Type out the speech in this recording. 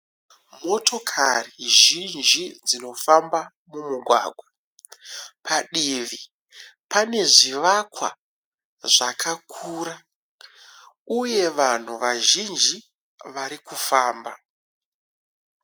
Motokari zhinji dzinofamba mumugwagwa. Padivi pane zvivakwa zvakakura uye vanhu vazhinji vari kufamba.